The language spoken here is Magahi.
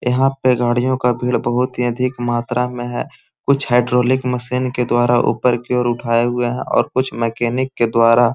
यहाँ पे गाड़ियों का भीड़ बहुत ही अधिक मात्रा में है कुछ हाइड्रोलिक मशीन के द्वारा ऊपर की ओर उठाए हुए हैं और कुछ मैकेनिक के द्वारा --